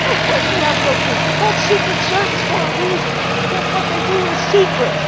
Of course we have no proof. They are called secret services for a reason because what they do is secret.